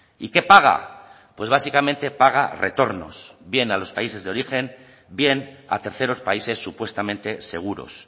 y qué paga pues básicamente paga retornos bien a los países de origen bien a terceros países supuestamente seguros